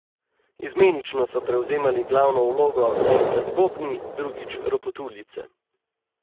Izmenično so prevzemali glavno vlogo enkrat bobni, drugič ropotuljice.